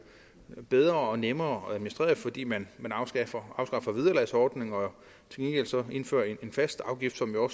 bedre og nemmere at administrere det fordi man afskaffer vederlagsordninger og så indfører en fast afgift som jo